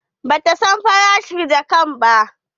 Ba ta san farashin jakkar ba.